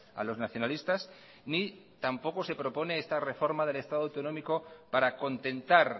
a los nacionalistas ni tampoco se propone esta reforma del estado autonómico para contentar